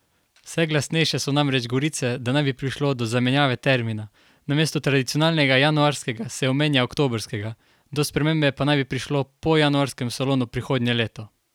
Vse glasnejše so namreč govorice, da naj bi prišlo do zamenjave termina, namesto tradicionalnega januarskega se omenja oktobrskega, do spremembe pa naj bi prišlo po januarskem salonu prihodnje leto.